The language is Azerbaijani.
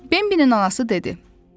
Bembinin anası dedi: